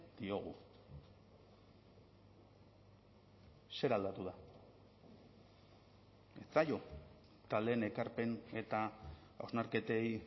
diogu zer aldatu da ez zaio taldeen ekarpen eta hausnarketei